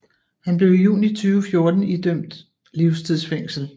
Han blev i juni 2014 dømt til livstids fængsel